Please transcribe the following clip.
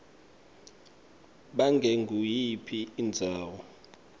ngabe nguyiphi indzawo